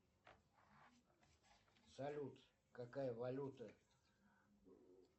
салют какая валюта